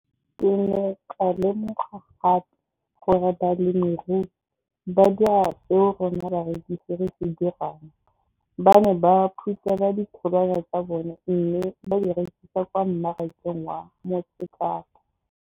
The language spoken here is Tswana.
Ke ne ka lemoga gape gore balemirui ba dira seo rona barekisi re se dirang ba ne ba phuthela ditholwana tsa bona mme ba di rekisa kwa marakeng wa Motsekapa.